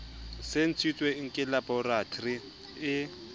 se ntshitsweng ke laboratori e